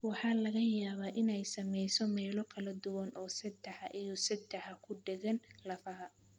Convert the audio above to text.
Waxa laga yaabaa inay saamayso meelo kala duwan oo seedaha iyo seedaha ku dhegaan lafaha.